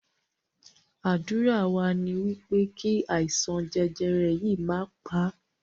Ádùrá wa ní wípé kí àìsàn jẹjẹrẹ yìí má pà á